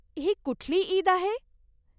ही कुठली ईद आहे?